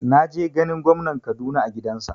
Na je ganin gwamnan Kaduna a gidansa